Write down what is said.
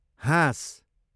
हाँस